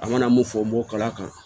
An mana mun fɔ n b'o kala kan